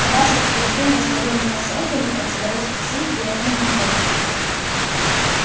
а ваше утверждение что вы меня создали противоречит всем требованиям логики